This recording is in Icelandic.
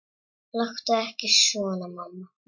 Láttu nú ekki svona mamma.